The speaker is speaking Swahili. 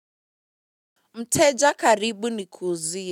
Mteja karibu nikuuzie.